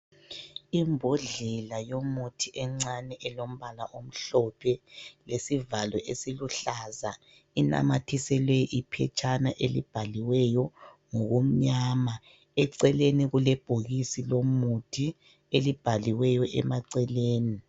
Imbodlela yomuthi encane elombala omhlophe lesivalo esiluhlaza. Inamathiselwe iphetshana elibhaliweyo ngokumnyama. Eceleni kule bhokisi lomuthi elibhaliweyo emaceleni.